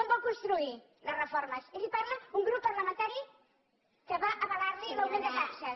com vol construir les reformes i li parla un grup parlamentari que va avalar li l’augment de taxes